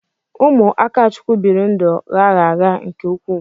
Ụmụ Akachukwu biri ndụ gha gha gha nke ukwuu.